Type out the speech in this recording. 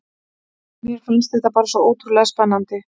Mér fannst þetta bara svo ótrúlega spennandi.